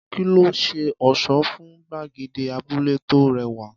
Kí ló ṣe ọ̀ṣọ́ fún gbàgede abúlé tó rẹwà?